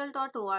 है